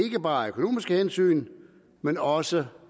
ikke bare af økonomiske hensyn men også